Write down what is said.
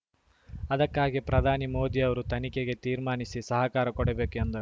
ಅದಕ್ಕಾಗಿ ಪ್ರಧಾನಿ ಮೋದಿ ಅವರು ತನಿಖೆಗೆ ತೀರ್ಮಾನಿಸಿ ಸಹಕಾರ ಕೊಡಬೇಕು ಎಂದರು